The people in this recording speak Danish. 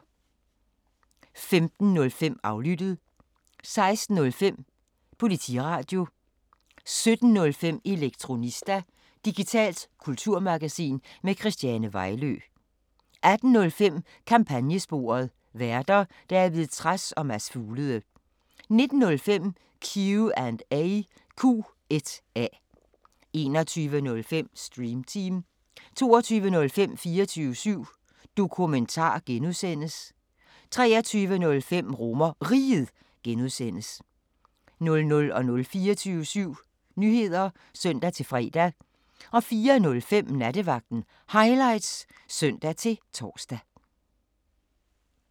15:05: Aflyttet 16:05: Politiradio 17:05: Elektronista – digitalt kulturmagasin med Christiane Vejlø 18:05: Kampagnesporet: Værter: David Trads og Mads Fuglede 19:05: Q&A 21:05: Stream Team 22:05: 24syv Dokumentar (G) 23:05: RomerRiget (G) 00:00: 24syv Nyheder (søn-fre) 04:05: Nattevagten Highlights (søn-tor)